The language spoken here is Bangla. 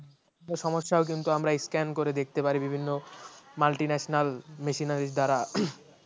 সমস্যা কিন্তু আমরা scan করে দেখতে পারি বিভিন্ন multinationalmachineries দ্বারা